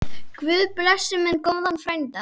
Guð blessi minn góða frænda.